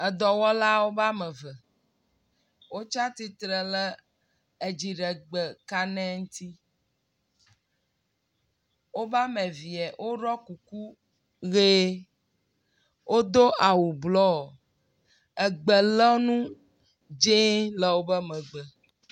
Dɔwɔlawo wome eve wotsi atsitre le edziɖegbe kane ŋuti, woƒe ame eve woɖɔ kuku ʋie. Wodo awu blɔ. Gbelɔnu dzɛ̃e le woƒe megbe.